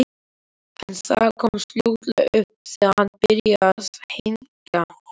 En það komst fljótlega upp þegar hann byrjaði að hneggja.